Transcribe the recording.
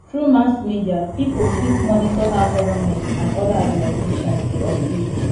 through mass media pipo fit monitor how government and other organizations de operate